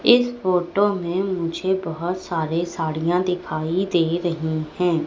इस फोटो में मुझे बहोत सारे साड़ियां दिखाई दे रही है।